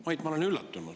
Mait, ma olen üllatunud.